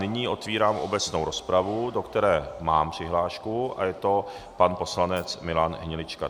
Nyní otevírám obecnou rozpravu, do které mám přihlášku, a je to pan poslanec Milan Hnilička.